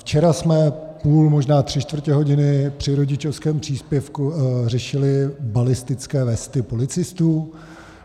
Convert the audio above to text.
Včera jsme půl, možná tři čtvrtě hodiny při rodičovském příspěvku řešili balistické vesty policistů.